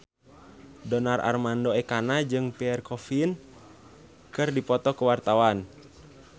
Donar Armando Ekana jeung Pierre Coffin keur dipoto ku wartawan